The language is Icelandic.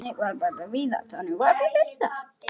Þannig var bara Viðar.